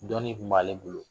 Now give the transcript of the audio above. Dɔnni tun b'ale bolo